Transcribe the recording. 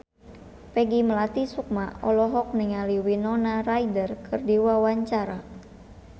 Peggy Melati Sukma olohok ningali Winona Ryder keur diwawancara